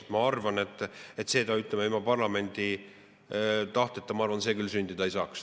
Selle, ma arvan, ütleme, ilma parlamendi tahteta küll sündida ei saaks.